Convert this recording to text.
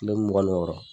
Kile mugan ni wɔɔrɔ